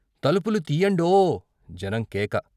తలుపులు తీయ్యండో జనం కేక.